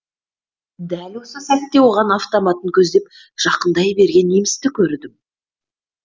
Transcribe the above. дәл осы сәтте оған автоматын көздеп жақындай берген немісті көрдім